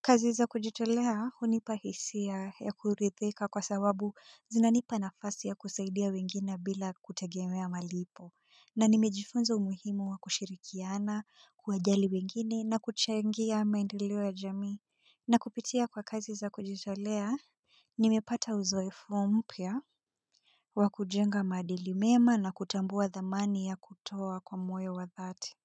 kazi za kujitolea hunipa hisia ya kurithika kwa sababu zinanipa nafasi ya kusaidia wengine bila kutegemea malipo. Na nimejifunza umuhimu wa kushirikiana, kuwajali wengine na kuchangia maendeleo ya jamii. Na kupitia kwa kazi za kujitolea, nimepata uzoefu mpya wa kujenga maadili mema na kutambua thamani ya kutoa kwa moy wa dhati.